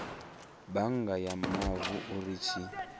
bannga ya mavu uri tshi